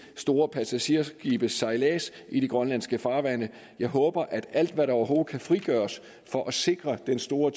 store passagerskibes sejlads i grønlandske farvande håber jeg at alt hvad der overhovedet kan frigøres for at sikre den store